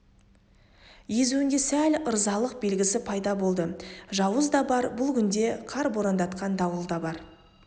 езуінде сәл ырзалық белгісі пайда болды жауыз да бар бұл күнде қар борандатқан дауыл да бар